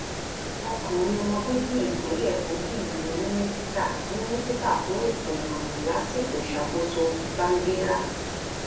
ọkùnrin ọmọ bíbí ìpínlẹ kogi yìí ní mínísítà mínísítà fún ètò ìròyìn lásìkò ìṣàkóso bangida